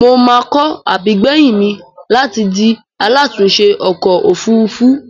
Mo máa kọ́ àbígbèyìn mi láti di alátùúnṣẹ ọkọ̀-òfurufú.